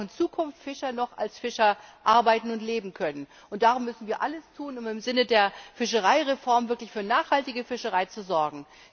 Wir wollen, dass auch in Zukunft Fischer noch als Fischer arbeiten und leben können. Darum müssen wir alles tun, um im Sinne der Fischereireform wirklich für nachhaltige Fischerei zu sorgen.